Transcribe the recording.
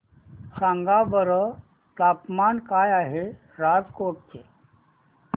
सांगा बरं तापमान काय आहे राजकोट चे